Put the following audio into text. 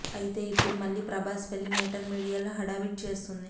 అయితే ఇప్పుడు మళ్ళీ ప్రభాస్ పెళ్లి మేటర్ మీడియాలో హడావిడి చేస్తుంది